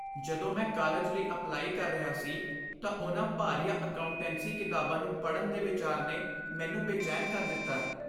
ਜਦੋਂ ਮੈਂ ਕਾਲਜ ਲਈ ਅਪਲਾਈ ਕਰ ਰਿਹਾ ਸੀ ਤਾਂ ਉਹਨਾਂ ਭਾਰੀਆਂ ਅਕਾਉਂਟੈਂਸੀ ਕਿਤਾਬਾਂ ਨੂੰ ਪੜ੍ਹਨ ਦੇ ਵਿਚਾਰ ਨੇ ਮੈਨੂੰ ਬੇਚੈਨ ਕਰ ਦਿੱਤਾ